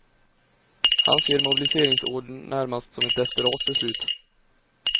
Han ser mobiliseringsordern närmast som ett desperat beslut.